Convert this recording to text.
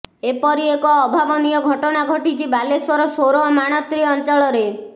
ଏପରି ଏକ ଅଭାବନୀୟ ଘଟଣା ଘଟିଛି ବାଲେଶ୍ୱର ସୋର ମାଣତ୍ରି ଅଞ୍ଚଳରେ